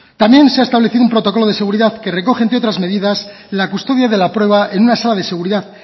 también se ha establecido un protocolo de seguridad que recoge entre otras medidas la custodia de la prueba en una sala de seguridad